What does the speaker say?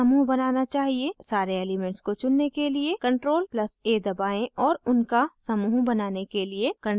सारे elements को चुनने के लिए ctrl + a दबाएं और उनका समूह बनाने के लिए ctrl + g दबाएं